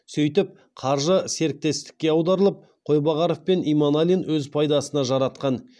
сөйтіп қаржы серіктестікке аударылып қойбағаров пен иманалин өз пайдасына жаратқан